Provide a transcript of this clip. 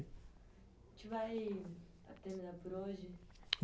A gente vai terminar por hoje.